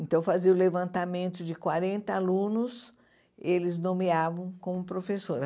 Então fazia o levantamento de quarenta alunos, eles nomeavam como professora.